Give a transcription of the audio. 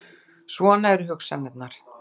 Svona eru hugsanirnar.